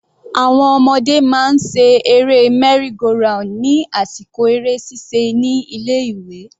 Àwọn ọmọdé máa ń ṣe eré merry-go-round ní àsìkò eré ṣíṣe ní ilé ìwé.